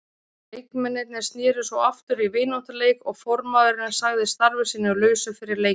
Leikmennirnir sneru svo aftur í vináttuleik og formaðurinn sagði starfi sínu lausu fyrir leikinn.